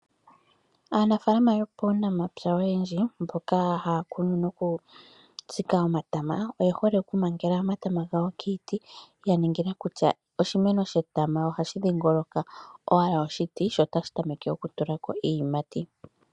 Aanafaalama yopaunamapya oyendji mboka haya kunu noku tsika omatama, oye hole oku mangela omatama gawo kiiti. Ya ningila kutya oshimeno shetama ohashi dhiingoloka owala oshiti, sho otashi tameke oku tulako iiyimati.